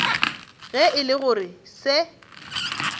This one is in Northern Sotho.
ge e le gore se